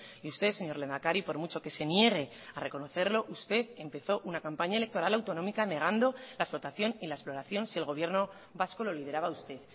y usted señor lehendakari por mucho que se niegue a reconocerlo usted empezó una campaña electoral autonómica negando la explotación y la exploración si el gobierno vasco lo liberaba usted